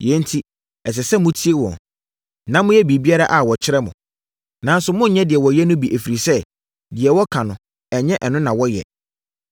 Yei enti, ɛsɛ sɛ motie wɔn, na moyɛ biribiara a wɔkyerɛ mo. Nanso, monnyɛ deɛ wɔyɛ no bi ɛfiri sɛ, deɛ wɔka no, ɛnyɛ ɛno na wɔyɛ.